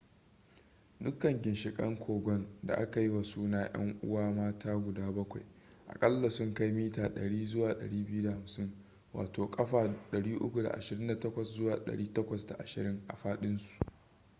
dukkan ginshikan kogon da aka yi wa suna ‘yan uwa mata guda bakwai” akalla sun kai mita 100 zuwa 250 kafa 328 zuwa 820 a fadinsu